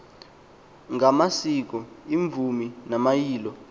ngamaciko iimvumi namayilo